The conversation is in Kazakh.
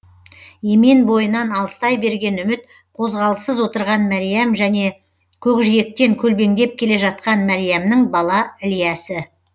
емен бойынан алыстай берген үміт қозғалыссыз отырған мәриям және көкжиектен көлбеңдеп келе жатқан мәриямның бала ілиясы